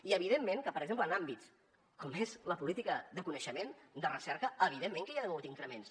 i evidentment que per exemple en àmbits com és la política de coneixement de recerca evidentment que hi ha hagut increments